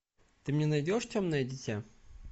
ты мне найдешь темное дитя